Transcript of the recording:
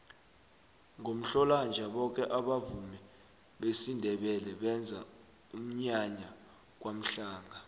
ngomhlolanja boke abavumi besindebele benza umnyanya kwamhlanga